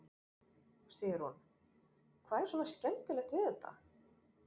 Sigrún: Hvað er svona skemmtilegt við þetta?